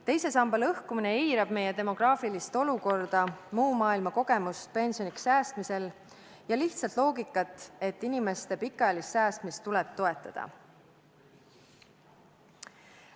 Teise samba lõhkumine eirab meie demograafilist olukorda, muu maailma kogemust pensioniks säästmisel ja lihtsat loogikat, et inimeste pikaajalist säästmist tuleb toetada.